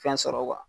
Fɛn sɔrɔ